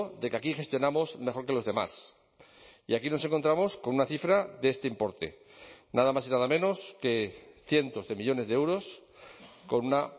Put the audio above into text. de que aquí gestionamos mejor que los demás y aquí nos encontramos con una cifra de este importe nada más y nada menos que cientos de millónes de euros con una